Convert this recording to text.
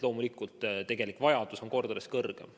Loomulikult on tegelik vajadus kordades suurem.